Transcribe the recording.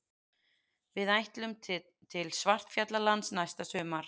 Við ætlum til Svartfjallalands næsta sumar.